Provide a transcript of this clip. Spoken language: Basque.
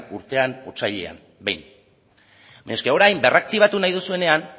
urtean otsailean behin orain berraktibatu nahi duzuenean